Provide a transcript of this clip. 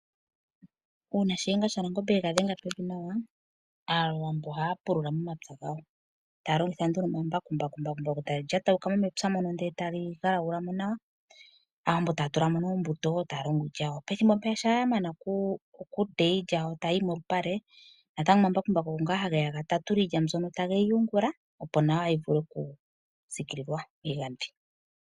Uuna Shiyenga shaNangombe ega dhenga pevi nawa, aawambo ohaya pulula momapya gawo, taya longitha nduno omambakumbaku. Embakumbaku tali lyatawuka mo mepya mono ndele e tali galagula mo nawa, aawambo taya tula mo oombuto taya longo iilya yawo. Pethimbo mpeya shampa ya mana oku teya iilya yawo tayi yi molupale natango omambakumbaku ogo ngaa hage ya ga tatule iilya mbyono tage yi yungula, opo nawa yi vule oku siikilila miigandhi.